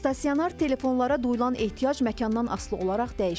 Stasionar telefonlara duyulan ehtiyac məkandan asılı olaraq dəyişir.